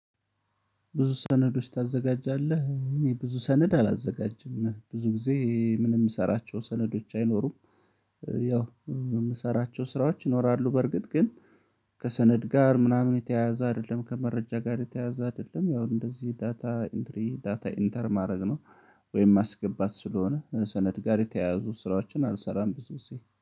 ብዙ ሰነዶች ታዘጋጃለህ እኔ ብዙ ሰነድ አላዘጋጅም ብዙ ጊዜ ምንም የምሰራቸው ሰነዶች አይኖሩም። ያው የምሰራቸው ስራዎች ይኖራሉ በርግጥ ግን ከሰነድ ጋር ምናምን የተያያዘ አይደለም ከመረጃ ጋር የተያያዘ አይደለም ያው እንደዚህ ዳታ ኢንትሪ ዳታ ኢንተር ማድረግ ነው። ወይም ማስገባት ስለሆነ ሰነድ ጋር የተያያዙ ስራዎችን አልሰራም። ብዙ ጊዜ